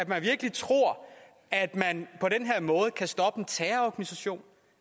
man virkelig tror at man på den her måde kan stoppe en terrororganisation